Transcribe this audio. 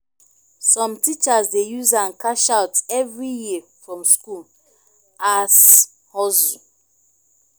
som teachers dey use am cash out evri year from skool as hustle